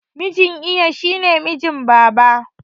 Mijin iya shine mijin babana